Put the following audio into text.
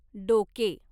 डोके